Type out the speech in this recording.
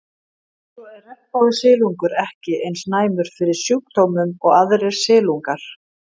Svo er regnbogasilungur ekki eins næmur fyrir sjúkdómum og aðrir silungar.